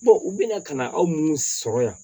u bɛna ka na aw munnu sɔrɔ yan